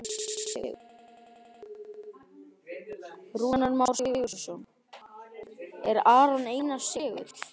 Rúnar Már Sigurjónsson: Er Aron Einar segull?